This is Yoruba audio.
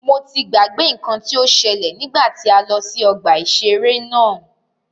Mo ti gbàgbé nnkan tí o ṣẹ́lẹ̀ nígbà tí a lọ sí ọgbà ìṣẹ̀rẹ́ náà.